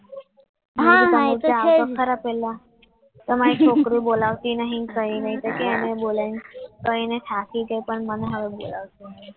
હા એ તો છે જ ને તમારું તમારી છોકરી બોલાવતો નહીં ને કંઈ નહીં તો કે આને બોલાય ને કહીને થાકી ગઈ પણ મને બોલાવતું નહીં